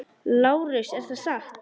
LÁRUS: Er það satt?